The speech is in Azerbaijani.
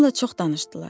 Onunla çox danışdılar.